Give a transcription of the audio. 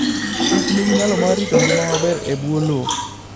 kich nigi nyalo mar rito ngima maber e bwo lowo.